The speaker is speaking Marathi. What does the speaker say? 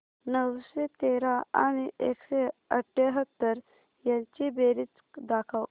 नऊशे तेरा आणि एकशे अठयाहत्तर यांची बेरीज दाखव